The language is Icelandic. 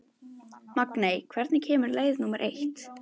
Magney, hvenær kemur leið númer eitt?